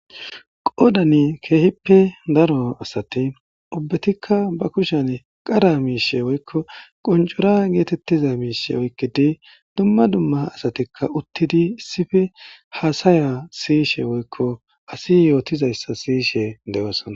Godani keehippe daro asati ubbatikka ba kushen qara miishe woykko qoncura geetettiza miishe oykkidi dumma dumma asatikka uttidi issife haasaya siyishe woykko asi yootizayssa siyishe dewosana